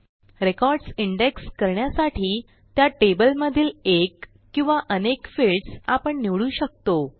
records index करण्यासाठी त्या टेबलमधील एक किंवा अनेक फील्ड्स आपण निवडू शकतो